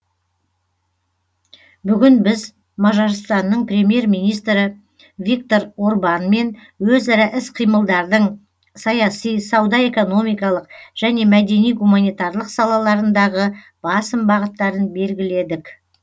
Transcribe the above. бүгін біз мажарстанның премьер министрі виктор орбанмен өзара іс қимылдардың саяси сауда экономикалық және мәдени гуманитарлық салаларындағы басым бағыттарын белгіледік